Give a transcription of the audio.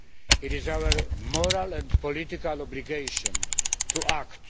It is our moral and political obligation to act.